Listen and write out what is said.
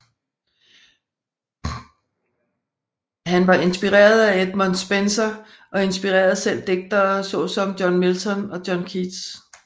Han var inspirerede af Edmund Spenser og inspirerede selv digtere så som John Milton og John Keats